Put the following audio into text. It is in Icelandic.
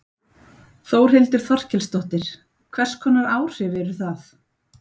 Þórhildur Þorkelsdóttir: Hvers konar áhrif eru það?